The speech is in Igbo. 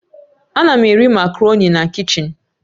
Ana m eri makaroni na kichin